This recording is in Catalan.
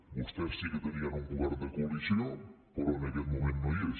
vostès sí que tenien un govern de coalició però en aquest moment no hi és